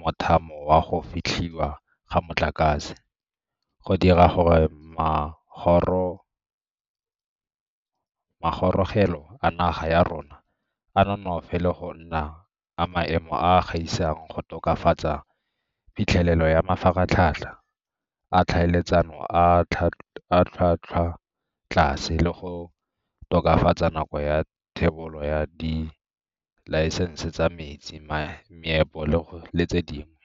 mothamo wa go fetlhiwa ga motlakase, go dira gore magorogelo a naga ya rona a nonofe le go nna a maemo a a gaisang, go tokafatsa phitlhelelo ya mafaratlhatlha a tlhaeletsano a a tlhwatlhwatlase, le go tokafatsa nako ya thebolo ya dilaesense tsa metsi, meepo le tse dingwe.